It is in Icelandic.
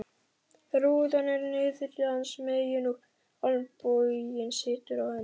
Rúðan er niðri hans megin og olnboginn situr á henni.